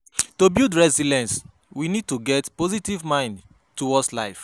To build resilience we need to get positive mind towards life